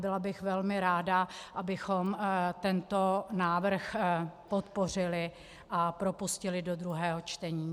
Byla bych velmi ráda, abychom tento návrh podpořili a propustili do druhého čtení.